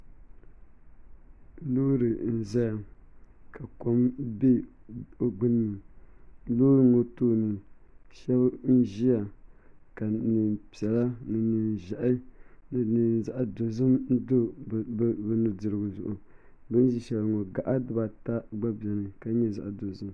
Loori n ʒɛya ka kom bɛ di gbunni loori ŋo tooni shab n ʒiya ka neen piɛla ni neen ʒiɛhi ni neen zaɣ dozim do bi nudirigu zuɣu bi ni ʒi shɛli ŋo gaɣa dibata bɛ dinni ka nyɛ zaɣ dozim